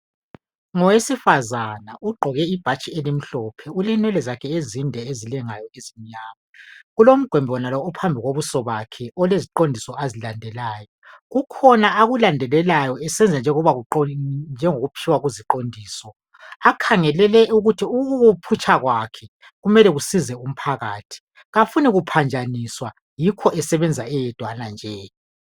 Ngowesifazana ugqoke ibhatshi elimhlophe. Ulenwele zakhe ezinde ezilengayo ezimnyama. Kulomgwembano ophambi kobuso bakhe oleziqondiso azilandelayo. Kukhona akulandelelayo esenza njengokutshiwo kuziqondiso akhangelele ukuthi ukukuwuphutsha kwakhe kumele kusize umphakathi. Kafuni kuphanjaniswa yikho esebenza eyedwana nje.